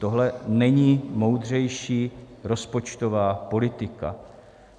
Tohle není moudřejší rozpočtová politika.